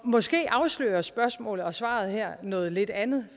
måske afslører spørgsmålet og svaret her noget lidt andet